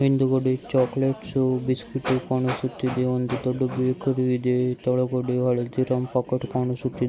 ಹಿಂದಗಡೆ chocolates biscuits ಕಾಣಿಸುತ್ತಿದೆ ದೊಡ್ಡ ಬೇಕರಿ ಇದೆ ಕೆಳಗಡೆ ಹಳದಿರಾಮ್ ಪ್ಯಾಕೆಟ್ಸ್ ಕಾಣಿಸುತ್ತಿದೆ .